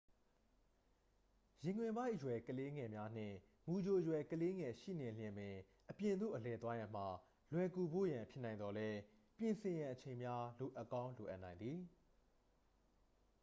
ရင်ခွင်ပိုက်အရွယ်ကလေးငယ်များနှင့် မူကြိုအရွယ် ကလေးငယ်ရှိနေလျှင်ပင် အပြင်သို့အလည်သွားရန်မှာ လွယ်ကူဖို့ရန်ဖြစ်နိုင်သော်လည်း ပြင်ဆင်ရန်အချိန်များ လိုအပ်ကောင်းလိုအပ်နိုင်သည်